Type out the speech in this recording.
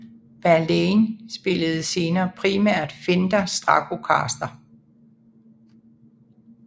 Verlaine spillede senere primært Fender Stratocaster